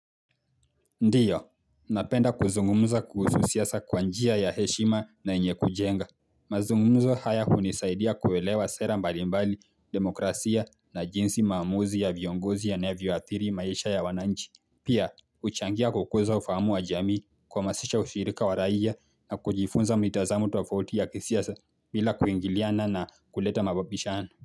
Ndiyo, napenda kuzungumuza kuhusu siasa kwa njia ya heshima na yenye kujenga mazungumuzo haya hunisaidia kuelewa sera mbalimbali demokrasia na jinsi maamuzi ya viongozi yanavyo athiri maisha ya wananchi Pia, kuchangia kwa kuweza ufahamu wa jamii kuhamasisha ushirika wa raia na kujifunza mitazamo tofauti ya kisiasa bila kuingiliana na kuleta mababishano.